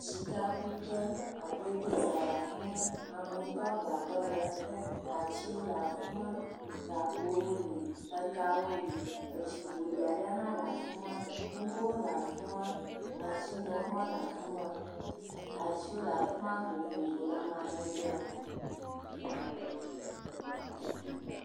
Sikakuƒe, agbodoza le afi ma. Amewo do agbadɔ le ete. Atsiwo le afi ma. Gakpowo li. Kawo li, etsi ƒoɖi aɖe hã le afi ma. Ŋgowo le afi ma. Mashiniwo hã le afi ma. Atiwo le afi ma vovovo le amadede me.